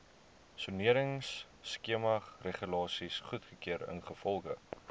soneringskemaregulasies goedgekeur ingevolge